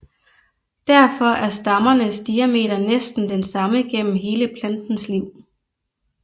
Derfor er stammernes diameter næsten den samme gennem hele plantens liv